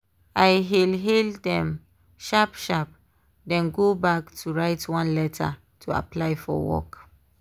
i hail hail dem sharp sharp then go back to write one letter to apply for work.